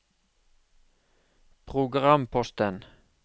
programposten